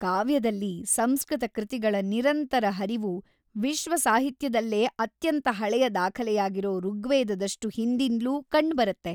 ಕಾವ್ಯದಲ್ಲಿ ಸಂಸ್ಕೃತ ಕೃತಿಗಳ ನಿರಂತರ ಹರಿವು ವಿಶ್ವ ಸಾಹಿತ್ಯದಲ್ಲೇ ಅತ್ಯಂತ ಹಳೆಯ ದಾಖಲೆಯಾಗಿರೋ ಋಗ್ವೇದದಷ್ಟು ಹಿಂದಿಂದ್ಲೂ ಕಂಡ್ಬರತ್ತೆ.